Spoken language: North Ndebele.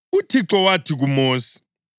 UThixo wathi kuMosi,